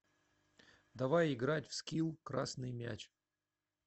давай играть в скил красный мяч